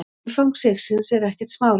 Umfang sigsins er ekkert smáræði.